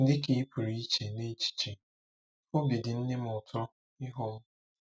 Dị ka ị pụrụ iche n'echiche, obi dị nne m ụtọ ịhụ m.